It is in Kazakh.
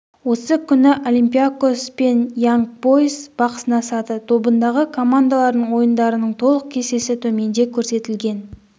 осы күні олимпиакос пен янг бойз бақ сынасады тобындағы командалардың ойындарының толық кестесі төменде көрсетілген